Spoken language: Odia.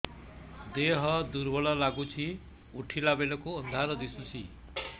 ଦେହ ଦୁର୍ବଳ ଲାଗୁଛି ଉଠିଲା ବେଳକୁ ଅନ୍ଧାର ଦିଶୁଚି